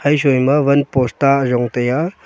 haisoi ma van post ta ayong taiya.